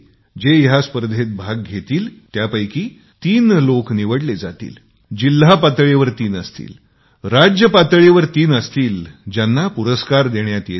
जे या स्पर्धेत भाग घेतील त्यातील तीन लोक निवडले जातील जिल्हा पातळीवर तीन असतील राज्य पातळीवर तीन असतील त्यांना पुरस्कार देण्यात येतील